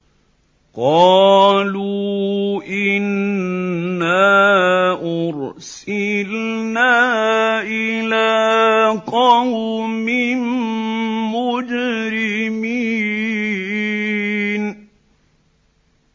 قَالُوا إِنَّا أُرْسِلْنَا إِلَىٰ قَوْمٍ مُّجْرِمِينَ